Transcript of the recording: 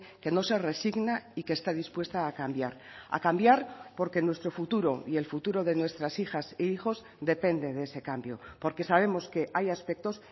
que no se resigna y que está dispuesta a cambiar a cambiar porque nuestro futuro y el futuro de nuestras hijas e hijos depende de ese cambio porque sabemos que hay aspectos